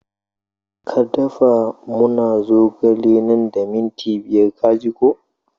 Ka da fa muna zogale nan da minti biyar ka ji ko!